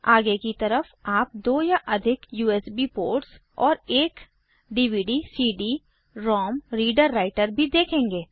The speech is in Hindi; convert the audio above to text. आगे की तरफ आप दो या अधिक यूएसबी पोर्ट्स और एक dvdcd रोम रीडर राइटर भी देखेंगे